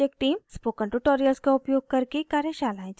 spoken tutorials का उपयोग करके कार्यशालाएं चलाती है